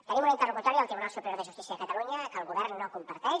tenim una interlocutòria del tribunal superior de justícia de catalunya que el govern no comparteix